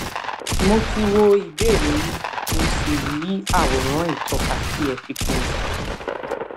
mo ti wo ìbéèrè yín mo sì rí àwòrán ìtọka tí ẹ fi kún un